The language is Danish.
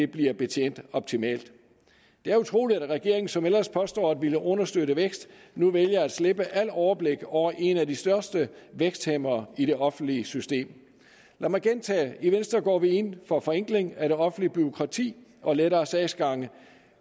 bliver betjent optimalt det er utroligt at regeringen som ellers påstår at ville understøtte vækst nu vælger at slippe alt overblik over en af de største vækstfremmere i det offentlige system lad mig gentage i venstre går vi ind for forenkling af det offentlige bureaukrati og lettere sagsgange